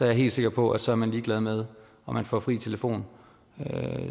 jeg helt sikker på at så er man ligeglad med om man får fri telefon